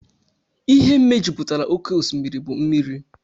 Ihe mejupụtara oké osimiri bụ mmiri